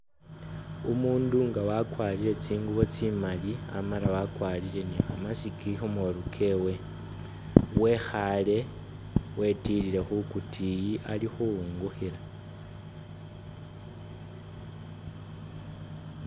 Umuundu nga wakwarire tsinguubo tsimaali amala wakwarire ni kha mask khu molu kewe, wekhaale wetilile khu kutiiyi ali khuwungukhila.